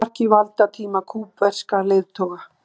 Takmarki valdatíma kúbverskra leiðtoga